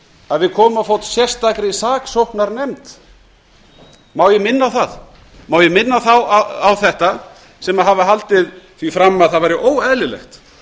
að við komum á fót sérstakri saksóknarnefnd má ég minna þá á þetta sem hafa haldið því fram að það væri óeðlilegt